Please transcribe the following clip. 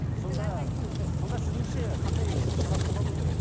сонда сіздіңше қандай ы шара қолдану керек